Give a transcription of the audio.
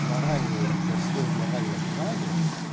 моральный застой в моральном плане